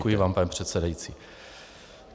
Děkuji vám, pane předsedající.